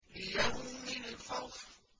لِيَوْمِ الْفَصْلِ